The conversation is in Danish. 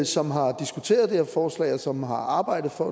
som har diskuteret det her forslag og som har arbejdet for